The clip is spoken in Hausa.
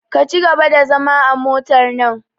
Ka cigaba da zama a motar nan!